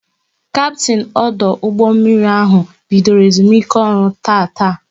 Kaptin ọdụ ụgbọ mmiri ahụ bidoro ezumike ọrụ tataa